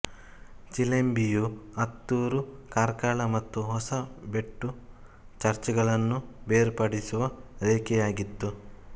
ಚಿಲಿಂಬಿಯು ಅತ್ತೂರು ಕಾರ್ಕಳ ಮತ್ತು ಹೊಸಬೆಟ್ಟು ಚರ್ಚ್ಗಳನ್ನು ಬೇರ್ಪಡಿಸುವ ರೇಖೆಯಾಗಿತ್ತು